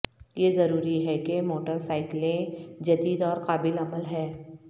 یہ ضروری ہے کہ موٹر سائیکلیں جدید اور قابل عمل ہیں